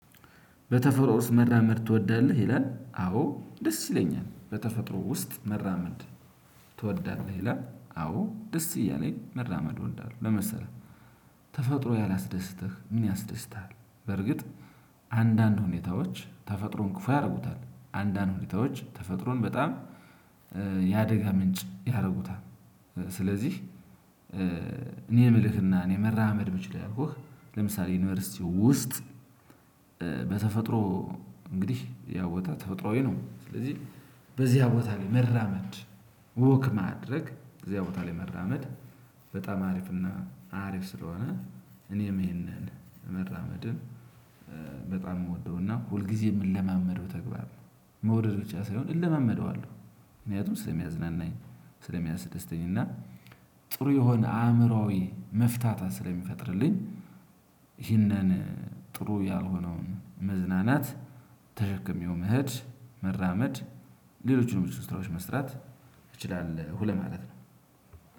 በተፈጥሮ ውስጥ መራመድ ትወዳለህ? ይላል። አዎ ደስ ይለኛል። በተፈጥሮ ውስጥ መራመድ። ትወዳለህ? ይላል። አዎ ደስ እያለኝ መራመድ እወዳለሁ። ምን መሰለህ ተፈጥሮ ያላስደስተህ ምን ያስደስትሀል? በርግጥ አንዳንድ ሁኔታዎች ተፈጥሮን ክፉ ያደርጉታል። አንዳንድ ሁኔታዎች ተፈጥሮን በጣም የአደጋ ምንጭ ያደርጉታል። ስለዚህ እኔ የምልህና እኔ መራመድ ብችል ያልኩህ ለምሳሌ ዩኒቨርሲቲው ውስጥ በተፈጥሮ እንግዲህ ያ ቦታ ተፈጥሮአዊ ነው። ስለዚህ በዚያ ቦታ ላይ መራመድ ወክ ማድረግ በዚያ ቦታ ላይ መራመድ በጣም አሪፍ እና አሪፍ ስለሆነ እኔም ይሄንን መራመድን በጣም የምወደው እና ሁልጊዜ የምንለማመደው ተግባር ነው። መውደድ ብቻ ሳይሆን እለመመደዋለሁ። ምክንያቱም ስለሚያዝናናኝ፣ ስለሚያስደስተኝ እና ጥሩ የሆነ አእምሮአዊ መፍታታት ስለሚፈጥርልኝ ይህንን ጥሩ ያልሆነውን መዝናናት ተሸክሜው መኸድ መራመድ ሌሎችንም ብዙ ስራዎች መስራት እችላለሁ ማለት ነው።